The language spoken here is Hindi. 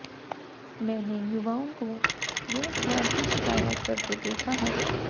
मैंने युवाओं को रोजगार की शिकायत करते देखा है